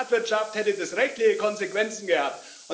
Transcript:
In der Privatwirtschaft hätte das rechtliche Konsequenzen gehabt.